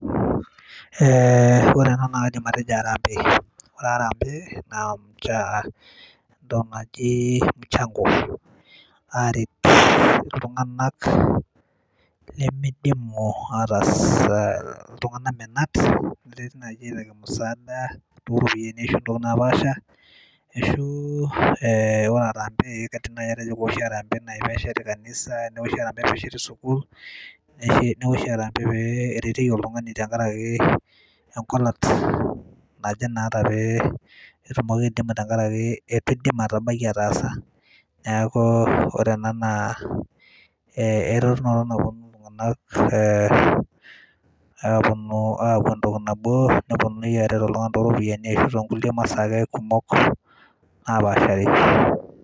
Eeh ore enaa naa kaidim atejo arambee, ore arambe naa aa entoki naji mchango, na ore aret ltunganak limidimu aa ltunganak menat oropiyani ontokitin napaasha ee ore arambe na kaidim atejo kewoshi pesheti kanisa ee pesheti sukul, newoshi arambe ee kewoshi arambe pereti oltungani tenkaraki engolat ee tenkaari ee nemeidim ataasa neaku ore ena ee kepuo naa ltunganak aaku entoki nabo ee tonkulie masaa ake kumok napaashari.